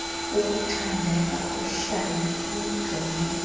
ukucandeka kuhlale kujonge